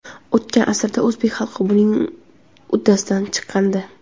O‘tgan asrda o‘zbek xalqi buning uddasidan chiqqandi.